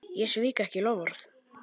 Ég svík ekki loforð.